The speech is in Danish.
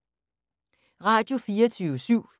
Radio24syv